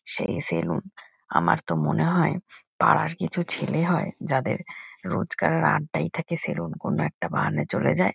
সেই সেলুন আমার তো মনে হয় পাড়ার কিছু ছেলে হয় যাদের রোজকার আড্ডায় থাকে সেলুন কোনো একটা বাহানায় চলে যায়।